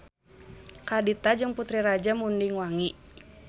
Kadita adalah putri Raja Munding Wangi.